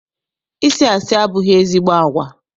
Ịsị asị abụghị ezigbo agwa.